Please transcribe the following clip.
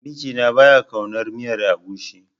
Mijina ba ya ƙaunar miyar agushi.